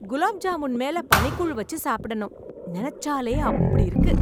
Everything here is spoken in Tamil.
குலாப் ஜாமுன் மேல பனிக்கூழ் வச்சு சாப்பிடணும், நினைச்சாலே அப்படி இருக்கு.